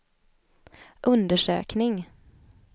undersökning